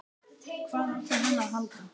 Hvað átti hann að halda?